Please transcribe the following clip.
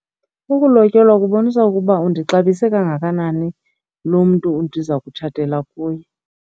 Ukulotyolwa kubonisa ukuba undixabise kangakanani lo mntu ndiza kutshatela kuye.